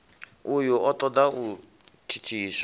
uyu o toda u thithiswa